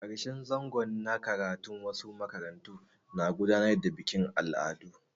A ƙarshen zango na karatu wasu makarantu na gudanar da bikin al'adu.